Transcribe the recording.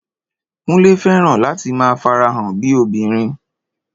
Kúnlé fẹ́ràn láti máa farahàn bíi obìnrin